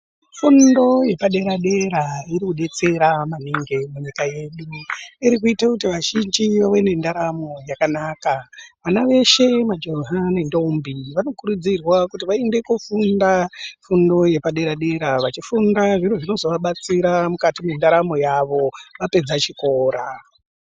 Fundo yepadera dera iri kudetsera maningi munyika yedu. Iri kuite kuti vazhinji vawe nendaramo yakanaka. Vana veshe majaha nendombi vanokurudzirwa kuti vaende kofunda fundo yedera dera. Vachifunda zviro zvinozovabatsira mukati mendaramo yavo vapedza chikora.